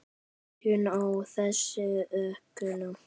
Við byrjum á þessum ókunna.